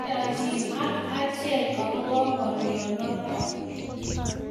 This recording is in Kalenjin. Meyanjine ak achek ekobo ngalyo notok